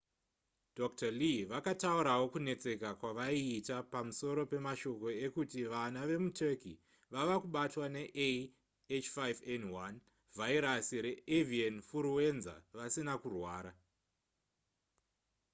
dr. lee vakataurawo kunetseka kwavaiita pamusoro pemashoko ekuti vana vemuturkey vava kubatwa nea h5n1 vhairasi reavian furuwenza vasina kurwara